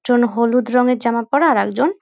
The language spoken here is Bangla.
জন হলুদ রঙের জামা পড়া আরেকজন --